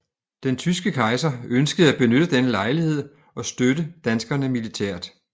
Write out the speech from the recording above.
Den tyske kejser ønskede at benytte denne lejlighed og støtte danskerne militært